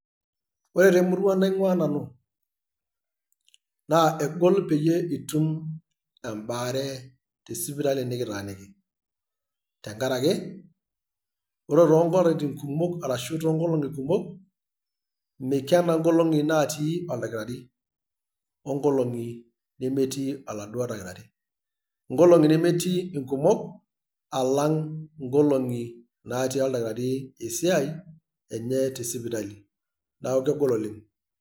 Ore temurua naingua nanu, naa eg'ol peyie itum embaare tesipitali nikitaaniki, tenkaraki tenkaraki ore toonkolaitin kumok, arashu toonkolong'i kumok meikena nkolong'i naati oldakitar,i onkolong'i nemetii olaaduo dakitari. Nkolongi nemetii inkimok alang' inkolong'i naati oldakitari esiai neeku kegol oleng'.